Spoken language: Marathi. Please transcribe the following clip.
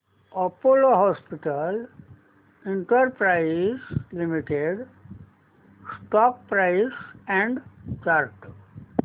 Apollo Hospitals Enterprise Limited stock price and chart